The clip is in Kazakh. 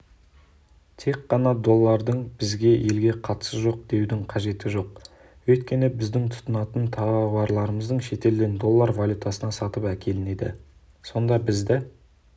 тек қана доллардың біздің елге қатысы жоқ деудің қажеті жоқ өйткені біз тұтынатын тауарларымыз шетелден доллар валютасына сатып әкелінеді сонда бізді